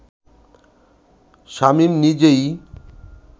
শামীম নিজেই